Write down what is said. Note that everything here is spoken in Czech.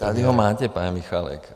Tady ho máte, pane Michálku.